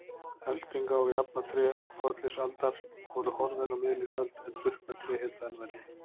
Elftinga- og jafnatré fornlífsaldar voru horfin á miðlífsöld en burknatré héldu enn velli.